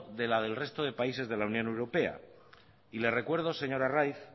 de la del resto de países de la unión europea y le recuerdo señor arraiz